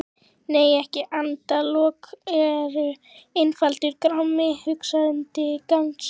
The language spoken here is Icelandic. Nei endalok eru einfaldur grámi: hugsanlegt gagnsæi.